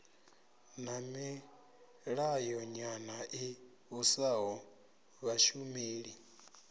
na milayonyana i vhusaho vhashumeli